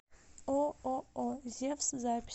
ооо зевс запись